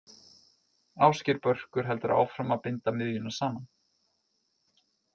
Ásgeir Börkur heldur áfram að binda miðjuna saman.